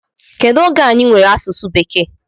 Kedu oge anyị nwere asụsụ bekee?